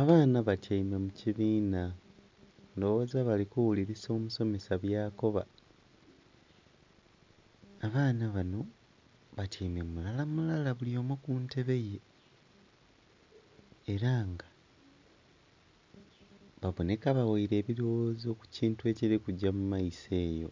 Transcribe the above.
Abaana batyaime mu kibiina, ndhowoza bali kuwulilisa omusomesa byakoba. Abaana bano batyaime mulala mulala buli omu ku ntebe ye. Era nga baboneka baghaire ebilowozo ku kintu ekili kugya mu maiso eyo.